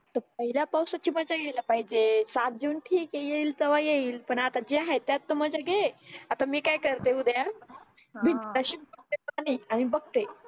पहिल्या पावसाची मजा घ्यायला पाहिजे सात जून ठीक आहे येईल तेव्हा येईल पण आता जे हाय त्यात तर मजा घे आता मी काय करते उद्या भिंत अशीच धुते पाण्याने आणि बघते